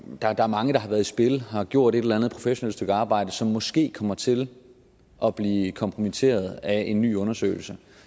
der er mange der har været i spil og har gjort et eller andet professionelt stykke arbejde som måske kommer til at blive kompromitteret af en ny undersøgelse